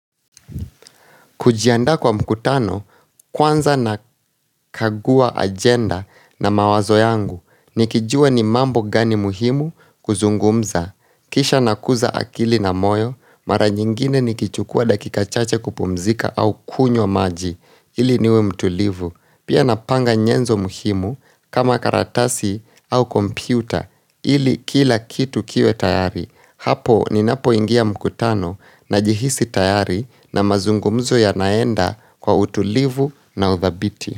Kujiandaa kwa mkutano kwanza nakagua agenda na mawazo yangu nikijua ni mambo gani muhimu kuzungumza. Kisha nakuza akili na moyo mara nyingine nikichukua dakika chache kupumzika au kunywa maji ili niwe mtulivu. Pia napanga nyenzo muhimu kama karatasi au kompyuta ili kila kitu kiwe tayari hapo ninapoingia mkutano najihisi tayari na mazungumzo yanaenda kwa utulivu na uthabiti.